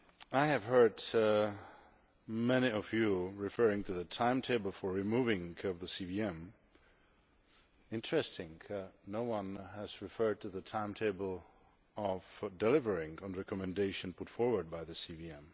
I have heard many Members referring to the timetable for removing the CVM. Interestingly, no one has referred to the timetable for delivering the recommendations put forward by the CVM.